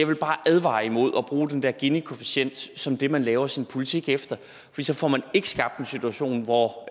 vil bare advare imod at bruge den der ginikoefficient som det man laver sin politik efter for så får man ikke skabt en situation hvor